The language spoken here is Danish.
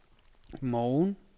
morgen